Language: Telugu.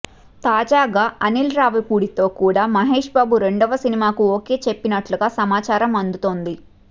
తాజాగా అనీల్ రావిపూడితో కూడా మహేష్బాబు రెండవ సినిమాకు ఓకే చెప్పినట్లుగా సమాచారం అందుతోంది